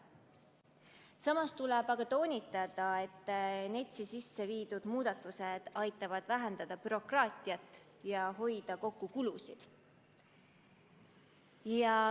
Samas tuleb toonitada, et NETS-i sisse viidavad muudatused aitavad vähendada bürokraatiat ja hoida kokku kulusid.